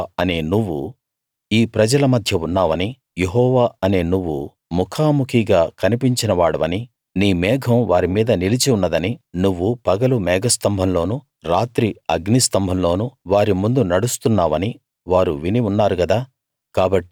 యెహోవా అనే నువ్వు ఈ ప్రజల మధ్య ఉన్నావనీ యెహోవా అనే నువ్వు ముఖాముఖిగా కనిపించినవాడివనీ నీ మేఘం వారి మీద నిలిచి ఉన్నదనీ నువ్వు పగలు మేఘస్తంభంలోనూ రాత్రి అగ్నిస్తంభంలోనూ వారి ముందు నడుస్తున్నావనీ వారు విని ఉన్నారు గదా